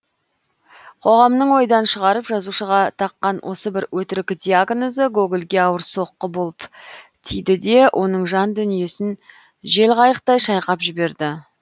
қоғамның ойдан шығарып жазушыға таққан осы бір өтірік диагнозы гогольге ауыр соққы болып тиді де оның жан дүниесін желқайықтай шайқап жіберді